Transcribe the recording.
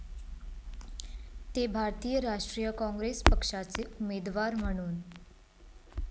ते भारतीय राष्ट्रीय काँग्रेस पक्षाचे उमेदवार म्हणून ।.